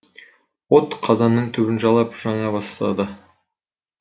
от қазанның түбін жалап жана бастады